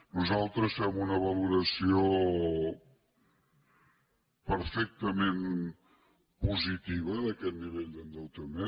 nosaltres fem una valoració perfectament positiva d’aquest nivell d’endeutament